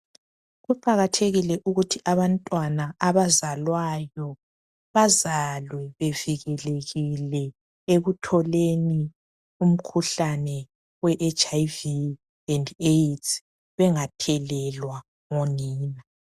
Kuqakathekile ukuthi abantwana bazalwayo bazalwe bevikelekile ekutholeni umkhuhlane we HIV and Aids bengathelelwa ngonina.